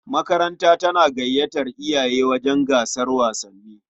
Makaranta tana gayyatar iyaye wajen gasar wasanni.